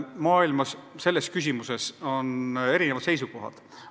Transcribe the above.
Maailmas on selles küsimuses erinevad seisukohad.